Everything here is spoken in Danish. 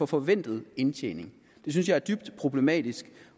forventet indtjening det synes jeg er dybt problematisk